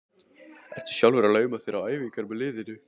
Ertu sjálfur að lauma þér á æfingar með liðinu?